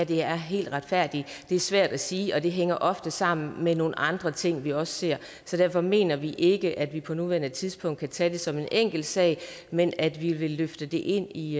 der er helt retfærdigt det er svært at sige og det hænger ofte sammen med nogle andre ting vi også ser så derfor mener vi ikke at vi på nuværende tidspunkt kan tage det som en enkelt sag men at vi vil løfte det ind i